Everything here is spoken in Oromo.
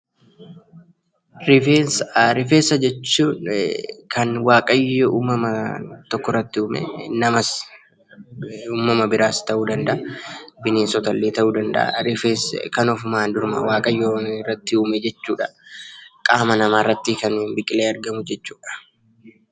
Rifeensa. Rifeensa jechuun kan Waaqayyo uumamaan wanta tokko irratti uume namas haa ta'uu; uumama biraas ta'uu danda'a. Bineensotallee ta'uu ni danda'a. Innis qaama namaa irratti kan biqilee argamu jechuudha.